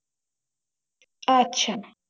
আচ্ছা